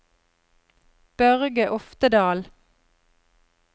Børge Oftedal